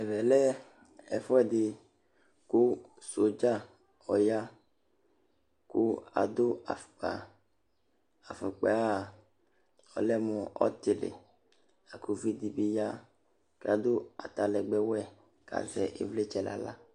ẽvɛlɛ kụ sɔdzɑ ɔyɑ kụ ɑɗụ ɑƒụkpɑ ɑfụkpɑyɛɑ ɔlɛmụ ɔtili ɑ kụviɗibiyɑ ɑɗụ ɑtɑlɛgbéwẽ ƙɑzɛ ivlitsɛ ɲɑhlɑ